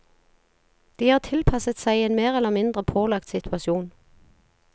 De har tilpasset seg en mer eller mindre pålagt situasjon.